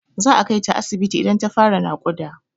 Za a kai ta asibiti idan ta fara naƙuda.